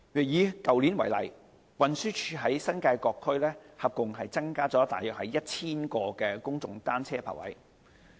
以去年為例，運輸署在新界各區合共增加約 1,000 個公眾單車泊位。